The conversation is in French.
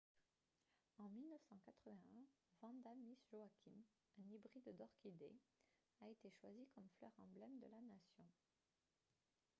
en 1981 vanda miss joaquim un hybride d'orchidée a été choisie comme fleur emblème de la nation